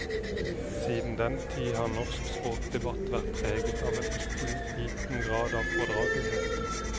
Siden den tid har norsk språkdebatt vært preget av en ikke liten grad av fordragelighet.